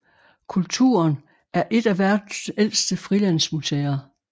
Kulturen er et af verdens ældste frilandsmuseer